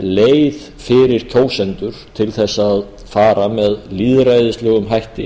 leið fyrir kjósendur til þess að fara með lýðræðislegum hætti